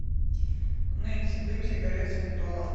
нэнси дым сигарет с ментолом